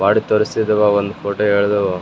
ಬೊಡಿ ತೋರಿಸಿರುವ ಒಂದ್ ಫೋಟೋ ಎಳದು --